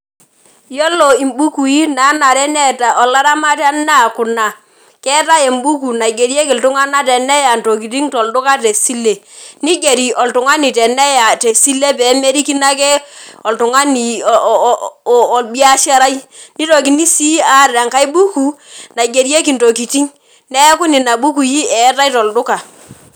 Yiolo imbukui nanare neeta olaramatani naa kuna , keetae embuku naigerieki iltunganak teneya ntokitin tesile , nigeri oltungani teneya tesile pemerikino ake oltungani oo orbiasharai, nitokini sii aata enkae buku naigerieki ntokitin , neeku nena bukui eetae tolduka.